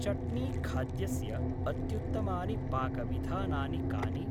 चट्नीखाद्यस्य अत्युत्तमानि पाकविधानानि कानि?